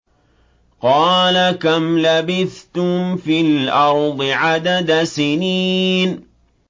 قَالَ كَمْ لَبِثْتُمْ فِي الْأَرْضِ عَدَدَ سِنِينَ